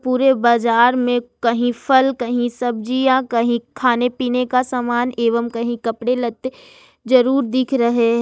पूरे बाजार में कहीं फल कहीं सब्जियां कहीं खाने पीने का सामान एवं कहीं कपड़े लगते जरूर दिख रहे हैं।